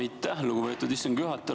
Aitäh, lugupeetud istungi juhataja!